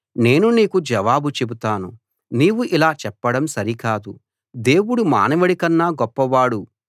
నేను నీకు జవాబు చెబుతాను నీవు ఇలా చెప్పడం సరికాదు దేవుడు మానవుడికన్నా గొప్పవాడు